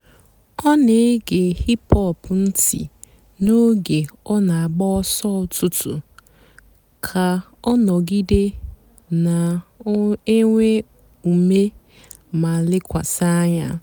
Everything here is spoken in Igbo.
ọ́ nà-ège hìp-hòp ǹtị́ n'óge ọ́ nà-àgbà ọ̀sọ́ ụ́tụtụ́ kà ọ́ nọ̀gídé nà-ènwé úmé má lékwasị́ ànyá.